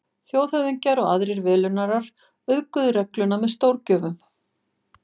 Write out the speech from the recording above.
Þjóðhöfðingjar og aðrir velunnarar auðguðu regluna með stórgjöfum.